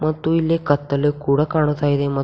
ಮತ್ತು ಇಲ್ಲಿ ಕತ್ತಲೆ ಕೂಡ ಕಾಣ್ತಾ ಇದೆ ಮತ್--